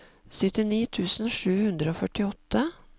syttini tusen sju hundre og førtiåtte